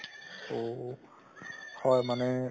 ঔ ঔ হয় মানে